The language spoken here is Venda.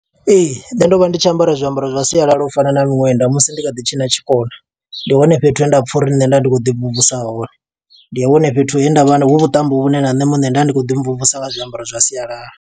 Ee, nṋe ndo vha ndi tshi ambara zwiambaro zwa sialala u fana na miṅwenda musi ndi kha ḓi tshina tshikona. Ndi hone fhethu he nda pfa uri nṋe nda ndi khou ḓi mvumvusa hone, ndi hone fhethu he nda vha, hu vhuṱambo vhune na nṋe muṋe nda ndi khou ḓi mvumvusa nga zwiambaro zwa sialala.